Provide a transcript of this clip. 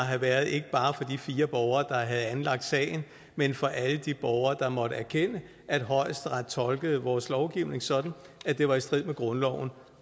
have været ikke bare for de fire borgere der havde anlagt sagen men for alle de borgere der måtte erkende at højesteret tolkede vores lovgivning sådan at det var i strid med grundloven